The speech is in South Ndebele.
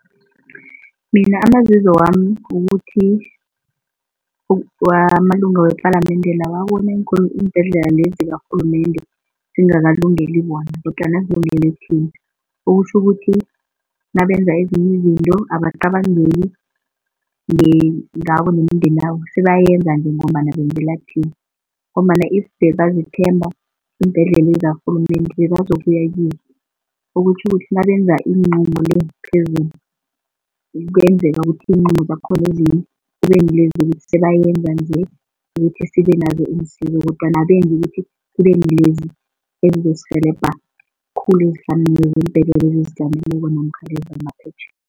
Mina amazizo wami ukuthi amalunga wepalamende abona iimbhedlela lezi zakarhulumende zingakalungeli bona kodwana zilungele thina, okutjho ukuthi nabenza ezinye izinto abacabangeli ngabo nemindenabo sebayenza nje ngombana benzela thina. Ngombana if bebazithemba iimbhedlelezi zakarhulumende bebazokuya kizo, okutjho ukuthi nabenza iinqumo lezi phezulu kuyenzeka ukuthi iinqumo zakhona ezinye kube ngilezi zokuthi sebayenza nje, ukuthi sibenazo insiza kodwana abenzi ukuthi kubengilezi ezizosirhelebha khulu ezifana neembhedlela ezizijameleko namkha lezi zangaphetjheya.